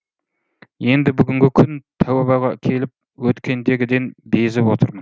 енді бүгінгі күн тәубаға келіп өткендегіден безіп отырмын